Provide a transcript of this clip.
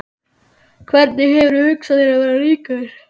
Hvernig hefurðu hugsað þér að verða ríkur?